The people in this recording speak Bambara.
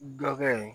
Dɔkɛ ye